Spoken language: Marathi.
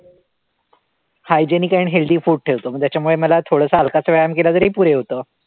Hygienic and healthy food ठेवतो, मग त्याच्यामुळे मला थोडासा हलकासा व्यायाम केला तरी पुरे होतं.